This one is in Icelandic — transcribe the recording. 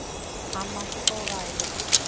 Amma átti góða ævi.